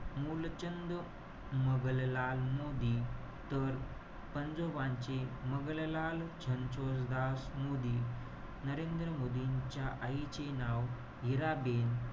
मुलचंद मगनलाल मोदी. तर, पंजोबांचे, मगनलाल रणछोडदास मोदी. नरेंद्र मोदींच्या आईचे नाव हिराबेन,